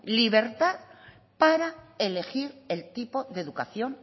libertad para elegir el tipo de educación